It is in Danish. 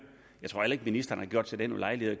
jeg tror heller ikke ministeren har gjort sig den ulejlighed at